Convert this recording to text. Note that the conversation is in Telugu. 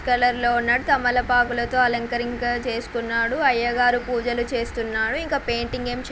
కలర్ లో ఉన్నాడు తమలపాకులతో అలంకరింకా చేసుకున్నాడు అయ్యగారు పూజలు చేస్తున్నాడు ఇంకా పెయింటింగ్ ఎమ్ చే --